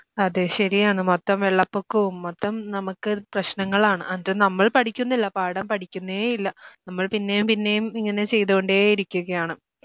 അതെ ശരിയാണ് മൊത്തം വെള്ളപ്പൊക്കവും മൊത്തം നമുക്ക് പ്രശ്നങ്ങളാണ് അത് നമ്മൾ പഠിക്കുന്നില്ല പാഠം പഠിക്കുന്നേയില്ല നമ്മൾ പിന്നെയും പിന്നെയും ഇങ്ങനെ ചെയ്തുകൊണ്ടേയിരിക്കുകയാണ്